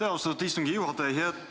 Aitäh, austatud istungi juhataja!